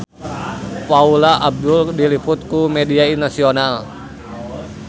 Paula Abdul diliput ku media nasional